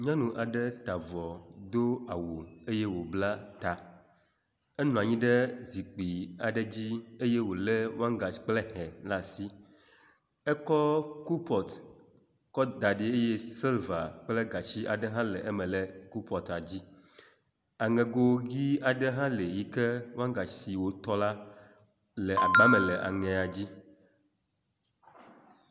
Nyɔnu aɖe ta avɔ do awu eye wobla ta. Enɔ anyi ɖe zikpui aɖe dzi eye wo le wangashi kple hɛ ɖe asi. Ekɔ kopɔtu da ɖi eye silva kple gatsi aɖe le eme le kopɔtua dzi. Aŋego dzi aɖe hã li yi ke wagashi wotɔ la le agbame le aŋegoa dzi.